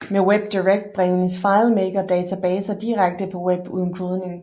Med WebDirect bringes FileMaker databaser direkte på web uden kodning